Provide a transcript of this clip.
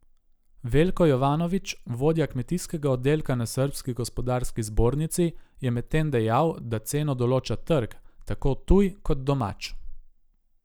Veljko Jovanović, vodja kmetijskega oddelka na srbski Gospodarski zbornici, je medtem dejal, da ceno določa trg, tako tuj kot domač.